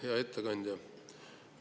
Hea ettekandja!